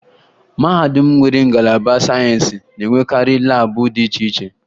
Mahadum ndị nwere ngalaba sayensị na-enwekarị laabụ dị iche iche